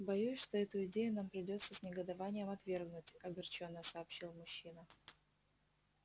боюсь что эту идею нам придётся с негодованием отвергнуть огорчённо сообщил мужчина